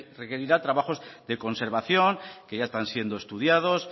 requerirá trabajos de conservación que ya están siendo estudiados